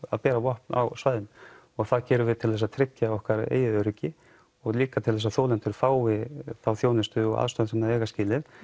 að bera vopn á svæðinu og það gerum við til þess að tryggja okkar eigið öryggi og líka til þess að þolendur fái þá þjónustu og aðstoð sem þeir eiga skilið